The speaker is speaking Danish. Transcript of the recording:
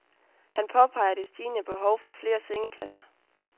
Han påpeger det stigende behov for flere sengepladser.